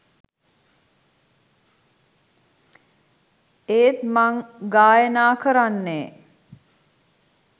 ඒත් මං ගායනා කරන්නෙ